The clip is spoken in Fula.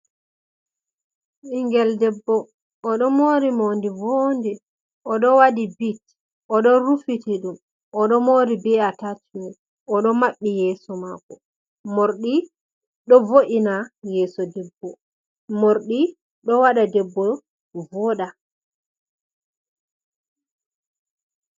Ɓingel debbo oɗo moori morɗi boɗɗi, oɗo wadi bit, oɗo rufiti ɗum, oɗo moori be atachimen, oɗo maɓɓi yeso mako. Morɗi ɗo vo’ina yeso debbo morɗi ɗo waɗa debbo o vooɗa